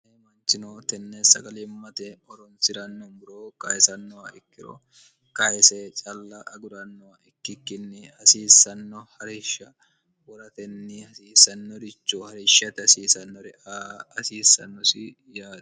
e manchino tenneessagalimmate oronsi'ranno buroo qaesannoha ikkiro qaese calla agudannoha ikkikkinni hasiissanno harishsha woratenni hasiissannoricho harishshate hasiisannore hasiissannosi yaati